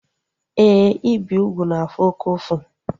Éè, ibi úgwù na-afụ oke ụfụ